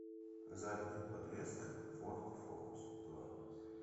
задняя подвеска форд фокус два